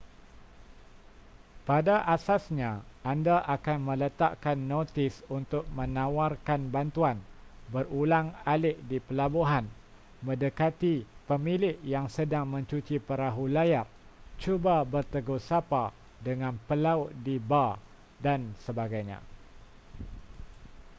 pada asasnya anda akan meletakkan notis untuk menawarkan bantuan berulang-alik di pelabuhan mendekati pemilik yang sedang mencuci perahu layar cuba bertegur sapa dengan pelaut di bar dsb